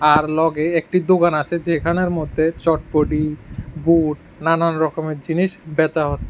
আর লগে একটি দুকান আছে যেখানের মধ্যে চটপটি বুট নানান রকমের জিনিস বেচা হচ্ছে।